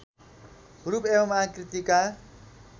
रूप एवं आकृतिका